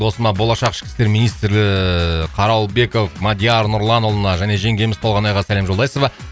досыма болашақ ішкі істер министрі қаралбеков мадияр нұрланұлына және жеңгеміз толғанайға сәлем жолдайсыз ба